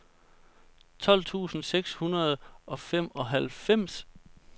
tolv tusind seks hundrede og femoghalvfems